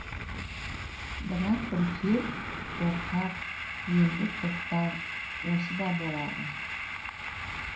бірақ үркер қорқар енді тоқтар осы да болады